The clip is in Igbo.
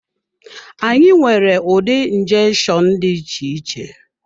Anyị nwere ụdị njeshonu dị iche iche.